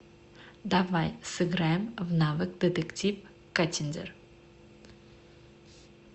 давай сыграем в навык детектив каттиндер